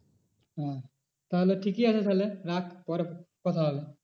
হ্যাঁ তাহলে ঠিকই আছে তাহলে রাখ পরে কথা হবে।